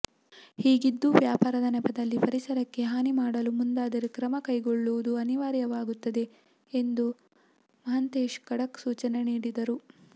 ಹೀಗಿದ್ದೂ ವ್ಯಾಪಾರದ ನೆಪದಲ್ಲಿ ಪರಿಸರಕ್ಕೆ ಹಾನಿ ಮಾಡಲು ಮುಂದಾದರೆ ಕ್ರಮ ಕೈಗೊಳ್ಳುವುದು ಅನಿವಾರ್ಯವಾಗುತ್ತದೆ ಎಂದು ಮಹಂತೇಶ್ ಖಡಕ್ ಸೂಚನೆ ನೀಡಿದರು